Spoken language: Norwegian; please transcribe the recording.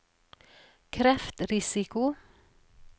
kreftrisiko